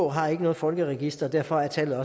har ikke noget folkeregister og derfor er tallet